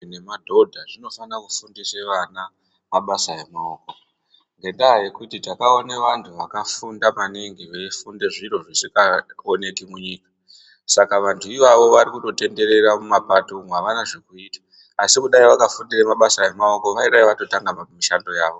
Eya madhodha tinofana kufundisa vana mabasa emaoko ngenyaya yekuti takaona vantu vakafunda maningi veifunda zviro zvisina kuita saka vantu ivavo varikungotenderera mumapato umu avana chekuita asi kudai vakafundira mabasa emaoko vane chekuita.